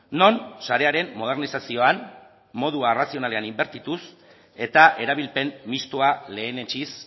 non sarearen modernizazioan modu arrazionalean inbertituz eta erabilpen mistoa lehenetsiz